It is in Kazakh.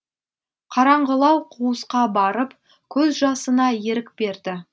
қараңғылау қуысқа барып көз жасына ерік берді